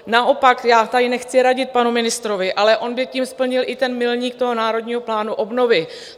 Naopak, já tady nechci radit panu ministrovi, ale on by tím splnil i ten milník toho Národního plánu obnovy.